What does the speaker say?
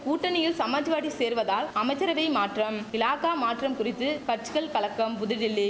ஊட்டணியில் சமாஜ்வாடி சேர்வதால் அமைச்சரவை மாற்றம் இலாகா மாற்றம் குறித்து கச்சிகள் கலக்கம் புதுடில்லி